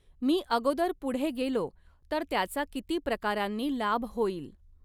मी अगोदर पुढे गेलो तर त्याचा किती प्रकारांनी लाभ होईल!